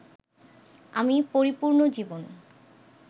আমি পরিপূর্ণ জীবন